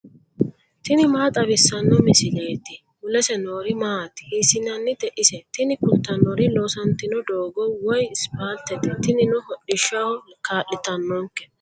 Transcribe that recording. tini maa xawissanno misileeti ? mulese noori maati ? hiissinannite ise ? tini kultannori loosantino doogo woyispaaltete tinino hodhishshaho kaa'litannonke.